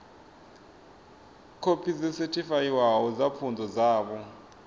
khophi dzo sethifaiwaho dza pfunzo dzavho